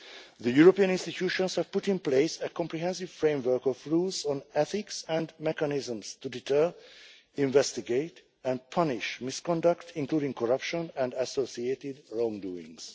The European institutions have put in place a comprehensive framework of rules on ethics and mechanisms to deter, investigate and punish misconduct, including corruption and associated wrongdoings.